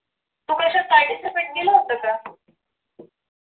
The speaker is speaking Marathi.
तू कशात participate केलं होतं का?